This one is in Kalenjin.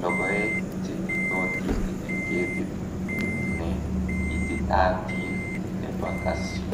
logoek che nyiitootiin eng' ketit ne ititaatiin ne ba Kasyu.